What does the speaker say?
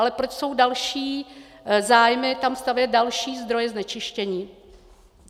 Ale proč jsou další zájmy tam stavět další zdroje znečištění?